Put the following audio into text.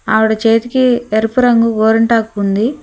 ఆవిడ చేతికి ఎరుపు రంగు గోరింటాకు ఉంది.